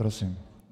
Prosím.